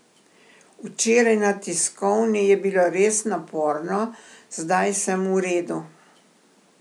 Včeraj na tiskovni je bilo res naporno, zdaj sem v redu.